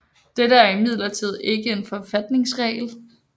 Dette er imidlertid ikke en forfatningsregel